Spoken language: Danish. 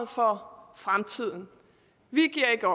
for fremtiden vi giver ikke